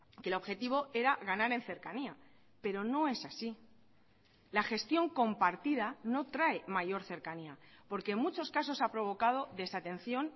que el objetivo era ganar en cercanía pero no es así la gestión compartida no trae mayor cercanía porque en muchos casos ha provocado desatención